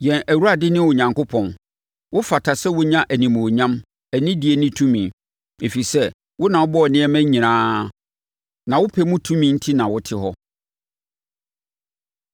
“Yɛn Awurade ne Onyankopɔn, wofata sɛ wonya animuonyam, anidie ne tumi, ɛfiri sɛ, wo na wobɔɔ nneɛma nyinaa, na wo pɛ mu enti na wɔte hɔ.”